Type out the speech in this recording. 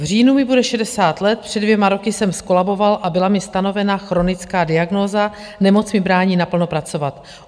V říjnu mi bude 60 let, před dvěma roky jsem zkolaboval a byla mi stanovena chronická diagnóza, nemoc mi brání naplno pracovat.